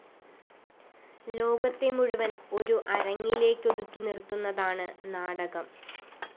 ലോകത്തെ മുഴുവന്‍ ഒരു അരങ്ങിലേക്കൊതുക്കി നിര്‍ത്തുന്നതാണ് നാടകം